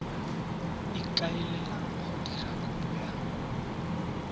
ikaelelang go dira kopo ya